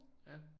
Ja